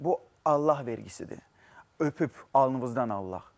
Bu Allah vergisidir, öpüb alnınızdan alaq.